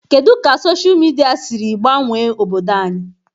Kedụ Sochaa midia siri gbanwee obodo anyị?